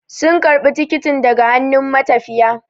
Sun karbi tikitin daga hannun matafiya